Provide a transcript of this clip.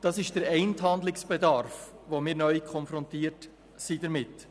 Das ist der eine Handlungsbedarf, mit dem wir neu konfrontiert sind.